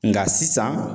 Nka sisan